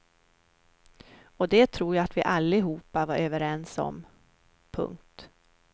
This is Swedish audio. Och det tror jag att vi allihopa var överens om. punkt